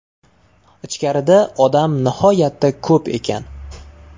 Ichkarida odam nihoyatda ko‘p ekan.